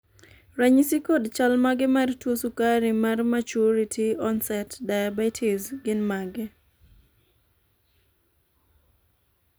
ranyisi kod chal mar tuo sukari mar maturity onset diabetes gin mage?